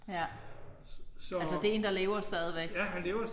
Ja. Altså det en der lever stadigvæk?